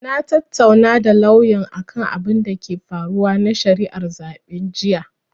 Na tattaunawa da lauyan akan abinda ke faruwa na shari'ar zaɓe jiya.